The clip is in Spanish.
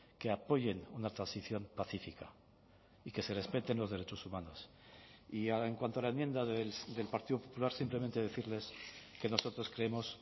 que apoyen una transición pacífica y que se respeten los derechos humanos y en cuanto a la enmienda del partido popular simplemente decirles que nosotros creemos